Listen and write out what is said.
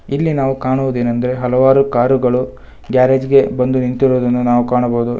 ಇಲ್ಲಿ ನಾವು ಕಾಣುವುದೇನೆಂದರೆ ಹಲವಾರು ಕಾರು ಗಳು ಗ್ಯಾರೇಜ್ ಗೆ ಒಂದು ನಿಂತಿರುವುದನ್ನ ನಾವು ಕಾಣಬಹುದು.